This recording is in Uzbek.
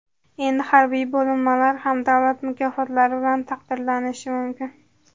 Endi harbiy bo‘linmalar ham davlat mukofotlari bilan taqdirlanishi mumkin.